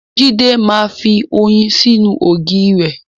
Jídé máa ń fi oyin sínú ògì re.